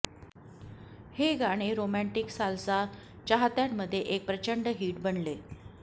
हे गाणे romantic salsa चाहत्यांमध्ये एक प्रचंड हिट बनले